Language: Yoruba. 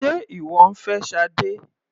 Sé ìwọ ń fẹ́ Sade?